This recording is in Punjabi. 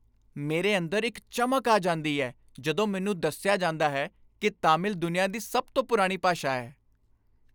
ਮੇਰੇ ਅੰਦਰ ਇੱਕ ਚਮਕ ਆ ਜਾਂਦੀ ਹੈ ਜਦੋਂ ਮੈਨੂੰ ਦੱਸਿਆ ਜਾਂਦਾ ਹੈ ਕਿ ਤਾਮਿਲ ਦੁਨੀਆਂ ਦੀ ਸਭ ਤੋਂ ਪੁਰਾਣੀ ਭਾਸ਼ਾ ਹੈ।